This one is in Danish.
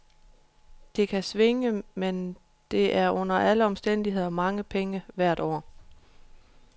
Det kan svinge, men det er under alle omstændigheder mange penge hvert år.